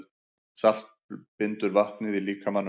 Salt bindur vatnið í líkamanum.